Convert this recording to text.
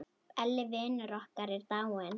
Elli vinur okkar er dáinn.